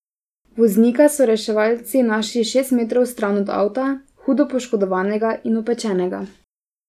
Voznika so reševalci našli šest metrov stran od avta, hudo poškodovanega in opečenega.